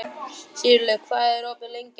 Sigurlogi, hvað er opið lengi á þriðjudaginn?